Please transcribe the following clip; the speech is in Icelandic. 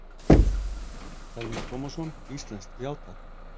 Telma Tómasson: Íslenskt, já takk?